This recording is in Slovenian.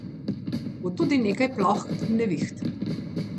Bo tudi nekaj ploh in neviht.